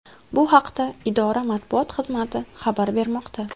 Bu haqda idora matbuot xizmati xabar bermoqda .